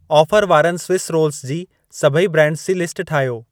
Offer वारनि Swiss rolls जी सभई ब्रांडस जी लिस्ट ठाहियो।